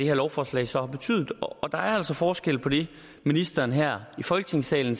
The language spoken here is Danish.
her lovforslag så har betydet og der er altså forskel på det ministeren siger her i folketingssalen